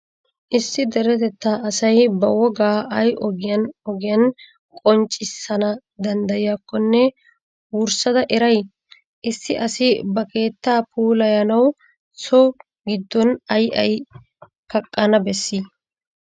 Issi deretettaa asay ba wogaa ay ogiyan ogiyan qonccissana danddayiyakkonne wurssada eray? Issi asi ba keettaa puulayanawu so giddon ay ay kaqqana bessii?